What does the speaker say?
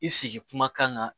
I sigi kuma kan